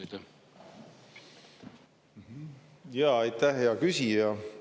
Aitäh, hea küsija!